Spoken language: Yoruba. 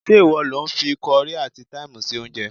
Ṣé ìwọ lo fi kọrí àti táìmù sí oúnjẹ?